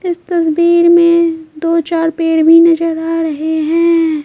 इस तस्वीर में दो-चार पैर भी नजर आ रहे हैं।